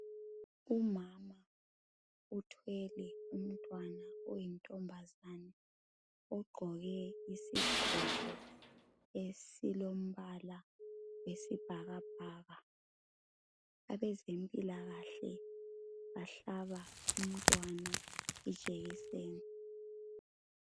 Umama uthwele umntwana oyintombazane, ugqoke isigqoko esilombala wesibhakabhaka. Abezempilakahle bahlaba umntwana ijekiseni.